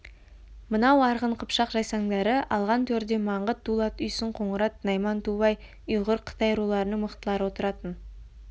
мынау арғын қыпшақ жайсаңдары алған төрде маңғыт дулат үйсін қоңырат найман тубай ұйғыр қытай руларының мықтылары отыратын